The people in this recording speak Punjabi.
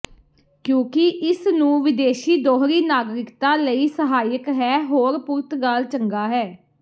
ਕਿਉਕਿ ਇਸ ਨੂੰ ਵਿਦੇਸ਼ੀ ਦੋਹਰੀ ਨਾਗਰਿਕਤਾ ਲਈ ਸਹਾਇਕ ਹੈ ਹੋਰ ਪੁਰਤਗਾਲ ਚੰਗਾ ਹੈ